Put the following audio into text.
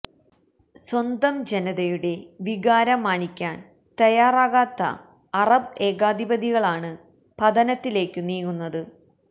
സ്വന്തം ജനതയുടെ വികാരം മാനിക്കാന് തയ്യാറാകാത്ത അറബ് ഏകാധിപതികളാണ് പതനത്തിലേക്കു നീങ്ങുന്നത്